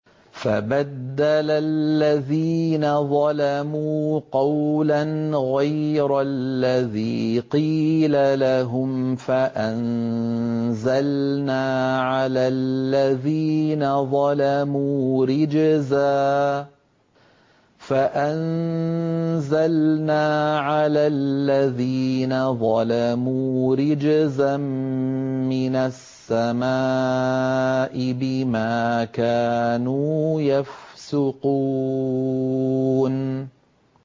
فَبَدَّلَ الَّذِينَ ظَلَمُوا قَوْلًا غَيْرَ الَّذِي قِيلَ لَهُمْ فَأَنزَلْنَا عَلَى الَّذِينَ ظَلَمُوا رِجْزًا مِّنَ السَّمَاءِ بِمَا كَانُوا يَفْسُقُونَ